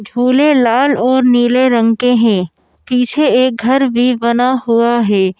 झूले लाल और नीले रंग के हैं पीछे एक घर भी बना हुआ है।